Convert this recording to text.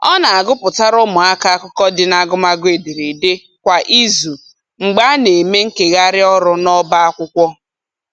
Ọ na-agụpụtara ụmụaka akụkọ dị n'agụmagụ ederede kwa izu mgbe a na-eme nkegharị ọrụ n'ọba akwụkwọ